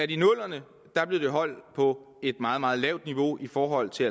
i nullerne holdt på et meget meget lavt niveau i forhold til